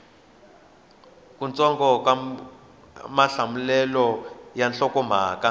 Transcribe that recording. kutsongo ka mahlamulelo ya nhlokomhaka